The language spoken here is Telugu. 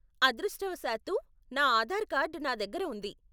అదృష్టవశాత్తూ, నా ఆధార్ కార్డు నా దగ్గర ఉంది.